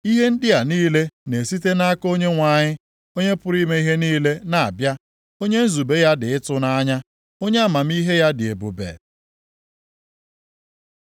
Ihe ndị a niile na-esite nʼaka Onyenwe anyị, Onye pụrụ ime ihe niile na-abịa, onye nzube ya dị ịtụnanya, onye amamihe ya dị ebube.